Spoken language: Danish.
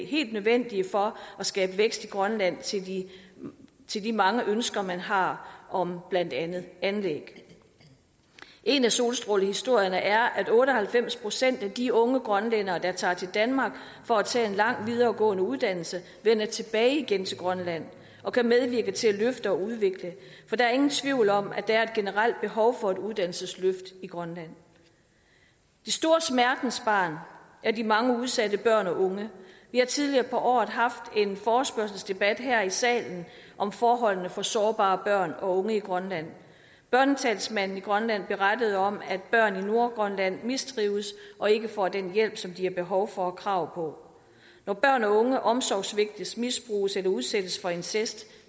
helt nødvendige for at skabe vækst i grønland til de mange ønsker man har om blandt andet anlæg en af solstrålehistorierne er at otte og halvfems procent af de unge grønlændere der tager til danmark for at tage en lang videregående uddannelse vender tilbage igen til grønland og kan medvirke til at løfte og udvikle for der er ingen tvivl om at der er et generelt behov for et uddannelsesløft i grønland det store smertensbarn er de mange udsatte børn og unge vi har tidligere på året haft en forespørgselsdebat her i salen om forholdene for sårbare børn og unge i grønland børnetalsmanden i grønland berettede om at børn i nordgrønland mistrives og ikke får den hjælp som de har behov for og krav på når børn og unge omsorgssvigtes misbruges eller udsættes for incest